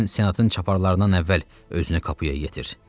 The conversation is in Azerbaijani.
Sən senatın çaparlarından əvvəl özünü Kapuya yetir.